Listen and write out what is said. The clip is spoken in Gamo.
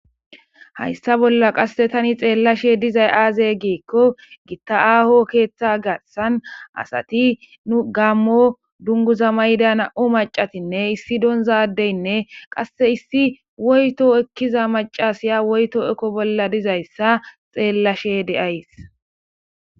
hayssa bolla qasse tani xeellashe dizay aaze gikko gitta7aaho keeththa garsan asati nu gammo dunguza mayda na7o macatinne issi donzadeynne qasse issi woyto ekkiza macasiya woyto eko bolla dizayssa xeellashe de'aysi